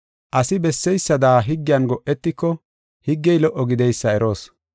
Asi besseysada higgiyan go7etiko higgey lo77o gideysa eroos.